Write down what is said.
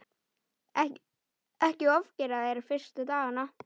Ekki ofgera þér fyrstu dagana.